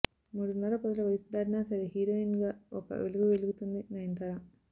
మూడున్నర పదుల వయసు దాటినా సరే హీరోయిన్ గా ఒక వెలుగు వెలుగుతుంది నయనతార